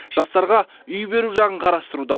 жастарға үй беру жағын қарастыруда